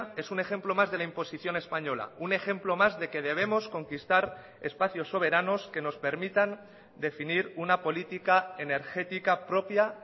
es un ejemplo más de la imposición española un ejemplo más de que debemos conquistar espacios soberanos que nos permitan definir una política energética propia